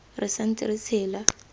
re sa ntse re tshela